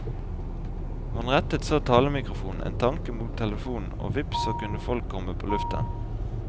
Man rettet så talemikrofonen en tanke mot telefonen, og vips så kunne folk komme på lufta.